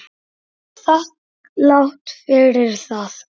Er þakklát fyrir það.